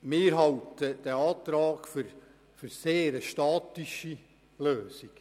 Wir halten den Antrag für eine sehr statische Lösung.